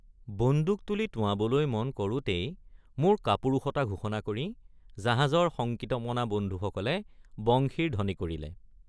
বন্দুক তুলি টোঁৱাবলৈ মন কৰোঁতেই মোৰ কাপুৰুষতা ঘোষণা কৰি জাহাজৰ শঙ্কিতমনা বন্ধুসকলে বংশীৰ ধ্বনি কৰিলে।